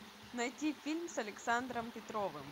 найти фильм с александром петровым